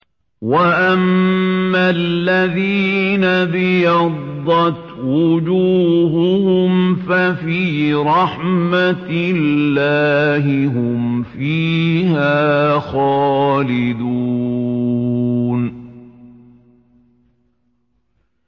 وَأَمَّا الَّذِينَ ابْيَضَّتْ وُجُوهُهُمْ فَفِي رَحْمَةِ اللَّهِ هُمْ فِيهَا خَالِدُونَ